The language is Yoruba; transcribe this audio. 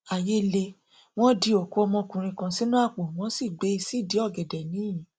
àyè lé wọn di òkú ọmọkùnrin kan sínú àpò wọn sì gbé e sídìí ọgẹdẹ ńiyín